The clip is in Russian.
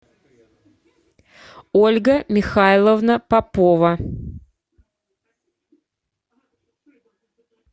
ольга михайловна попова